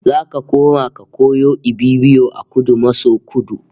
Zaka koma ka koyo Ibibio a Kudu maso Kudu